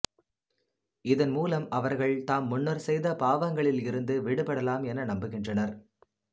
இதன் மூலம் அவர்கள் தாம் முன்னர் செய்த பாவங்களிலிருந்து விடுபடலாம் என நம்புகின்றனர்